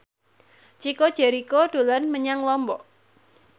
Chico Jericho dolan menyang Lombok